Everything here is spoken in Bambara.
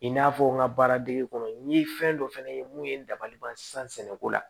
I n'a fɔ n ka baara dege kɔnɔ n ye fɛn dɔ fɛnɛ ye mun ye n dabali ban sisan sɛnɛko la